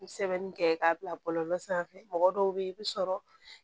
N bɛ sɛbɛnni kɛ k'a bila bɔlɔlɔ sanfɛ mɔgɔ dɔw bɛ yen i bɛ sɔrɔ